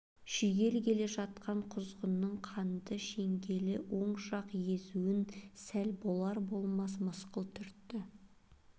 шүйгелі келе жатқан құзғынның қанды шеңгелі оң жақ езун сәл болар-болмас мысқыл түртті